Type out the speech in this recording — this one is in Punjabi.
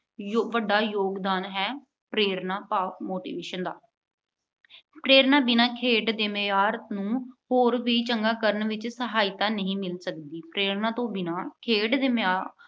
ਵੱਡਾ ਯੋਗਦਾਨ ਹੈ- ਪ੍ਰੇਰਨਾ ਭਾਵ motivation ਦਾ। ਪ੍ਰੇਰਨਾ ਤੋਂ ਬਿਨਾ ਖੇਡ ਦੇ ਮਿਆਰ ਨੂੰ ਹੋਰ ਵੀ ਚੰਗਾ ਕਰਨ ਵਿੱਚ ਸਹਾਇਤਾ ਨਹੀਂ ਮਿਲ ਸਕਦੀ। ਪ੍ਰੇਰਨਾ ਬਿਨਾ ਖੇਡ ਦੇ ਮੈਦਾਨ